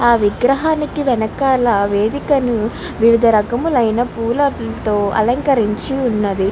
ఆ విగ్రహానికి వెనకల వేదికని వివిధరకములైన పుల్లటితో అలంకరించి ఉన్నదీ.